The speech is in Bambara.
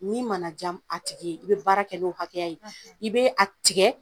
Min manaj' a tigi ye i bɛ baara kɛ n'o hakɛya ye i be a tigɛ !